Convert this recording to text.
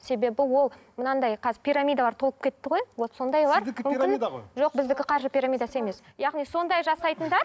себебі ол мынандай қазір пирамидалар толып кетті ғой вот сондайлар мүмкін жоқ біздікі қаржы пирамидасы емес яғни сондай жасайтындар